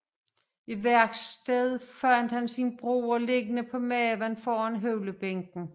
I værkstedet fandt han sin bror liggende på maven foran høvlebænken